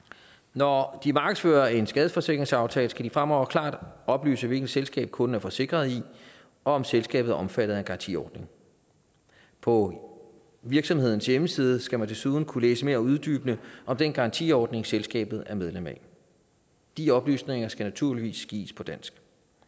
når de markedsfører en skadesforsikringsaftale skal de fremover klart oplyse hvilket selskab kunden er forsikret i og om selskabet er omfattet af en garantiordning på virksomhedens hjemmeside skal man desuden kunne læse mere uddybende om den garantiordning selskabet er medlem af de oplysninger skal naturligvis gives på dansk